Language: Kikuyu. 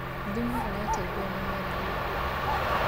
thumu ũrateithia mĩmera gũkũra